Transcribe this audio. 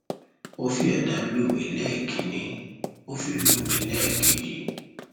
ó fi àdá lù mí lẹẹkìnní ó fi lù mí lẹẹkejì